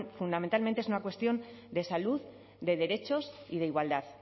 fundamentalmente es una cuestión de salud de derechos y de igualdad